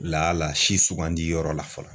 Lala si sugandi yɔrɔ la fɔlɔ